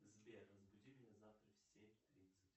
сбер разбуди меня завтра в семь тридцать